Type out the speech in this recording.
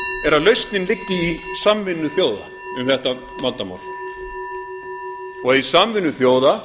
er að lausnin liggi í samvinnu þjóða um þetta vandamál og í samvinnu þjóða